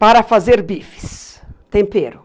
Para fazer bifes, tempero.